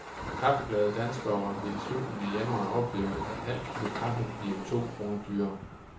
Kaffeglade danskere vil i slutningen af januar opleve, at et halvt kilo kaffe bliver to kroner dyrere.